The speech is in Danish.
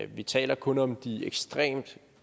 vi taler kun om de ekstremt